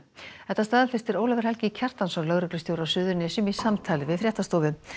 þetta staðfestir Ólafur Helgi Kjartansson lögreglustjóri á Suðurnesjum í samtali við fréttastofu